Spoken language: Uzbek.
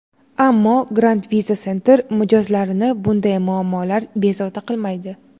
Ammo, Grand Visa Center mijozlarini bunday muammolar bezovta qilmaydi.